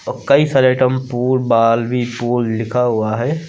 कई सारे item pool ball भी पूल लिखा हुआ है।